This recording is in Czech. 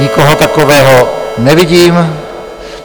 Nikoho takového nevidím.